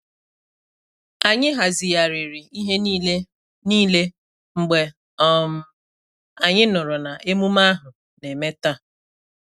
Anyị hazigharịri ihe niile niile mgbe um anyị nụrụ na emume ahu na-eme taa.